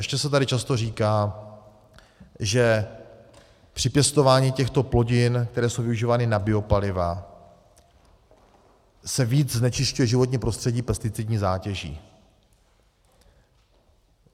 Ještě se tady často říká, že při pěstování těchto plodin, které jsou využívány na biopaliva, se více znečišťuje životní prostředí pesticidní zátěží.